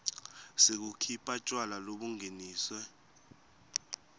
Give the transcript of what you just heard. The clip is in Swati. sekukhipha tjwala lobungeniswe